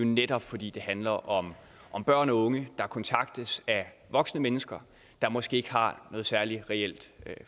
netop fordi det handler om om børn og unge der kontaktes af voksne mennesker der måske ikke har noget særlig reelt